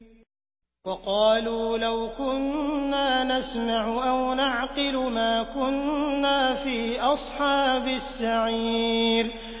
وَقَالُوا لَوْ كُنَّا نَسْمَعُ أَوْ نَعْقِلُ مَا كُنَّا فِي أَصْحَابِ السَّعِيرِ